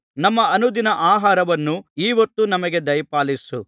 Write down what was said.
ನಮ್ಮ ಅನುದಿನದ ಆಹಾರವನ್ನು ಈ ಹೊತ್ತು ನಮಗೆ ದಯಪಾಲಿಸು